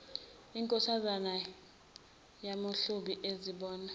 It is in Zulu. inkosazana yamahlubi azibona